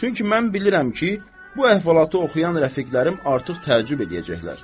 Çünki mən bilirəm ki, bu əhvalatı oxuyan rəfiqlərim artıq təəccüb eləyəcəklər.